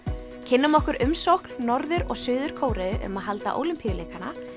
kynnum okkur umsókn Norður og Suður Kóreu um að halda Ólympíuleikana